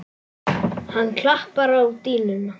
Hann klappar á dýnuna.